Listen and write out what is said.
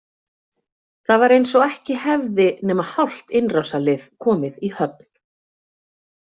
Það var eins og ekki hefði nema hálft innrásarlið komið í höfn.